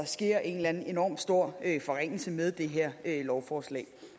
sker en enormt stor forringelse med det her lovforslag